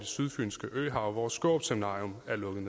sydfynske øhav hvor skårup seminarium er lukket